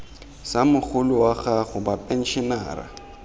sa mogolo wa gago bapenšenara